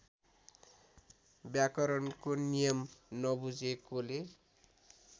व्याकरणको नियम नबुझेकोले